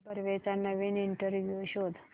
मुक्ता बर्वेचा नवीन इंटरव्ह्यु शोध